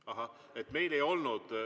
Ahah, meil ei olnud.